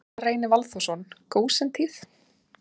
Gunnar Reynir Valþórsson: Gósentíð?